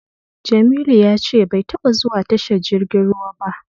Jamilu ya ce bai taba zuwa tashar jirgin ruwa ba.